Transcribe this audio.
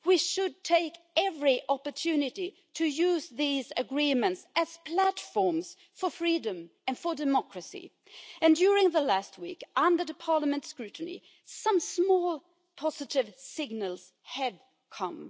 We should take every opportunity to use these agreements as platforms for freedom and for democracy, and during the last week under the Parliament's scrutiny, some small positive signals have come.